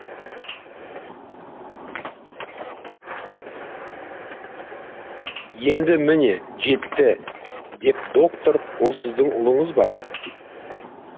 енді міне жетті деп доктор ол сіздің ұлыңыз ба